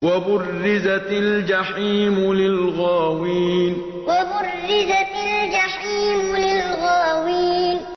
وَبُرِّزَتِ الْجَحِيمُ لِلْغَاوِينَ وَبُرِّزَتِ الْجَحِيمُ لِلْغَاوِينَ